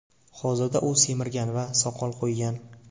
Hozirda u semirgan va soqol qo‘ygan.